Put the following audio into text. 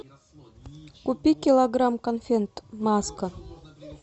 купи килограмм конфет маска